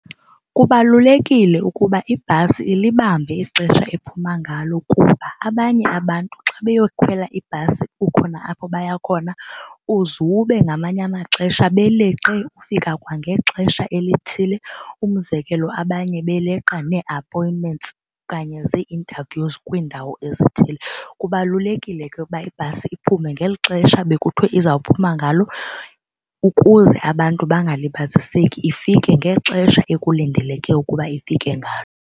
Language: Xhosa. Kubalulekile ukuba ibhasi ilibambe ixesha ephuma ngalo kuba abanye abantu xa beyokhwela ibhasi kukho apho baya khona uzube ngamanye amaxesha beleqe ufika kwangexesha elithile. Umzekelo abanye beleqa nee-appointments okanye zii-interviews kwiindawo ezithile. Kubalulekile ke ukuba ibhasi iphume ngeli xesha bekuthiwe izawuphuma ngalo ukuze abantu bangalibaziseki, ifike ngexesha ekulindeleke ukuba ifike ngalo.